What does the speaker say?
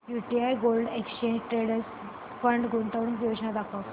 UTI gold exchange traded fund गुंतवणूक योजना दाखव